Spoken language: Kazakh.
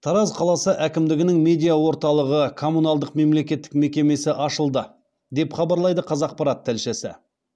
тараз қаласы әкімдігінің медиа орталығы коммуналдық мемлекеттік мекемесі ашылды деп хабарлайды қазақпарат тілшісі